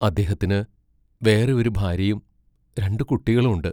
അദ്ദേഹത്തിനു വേറെ ഒരു ഭാര്യയും രണ്ടു കുട്ടികളും ഉണ്ട്.